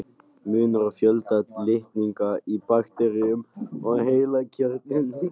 Munur á fjölda litninga í bakteríum og heilkjörnungum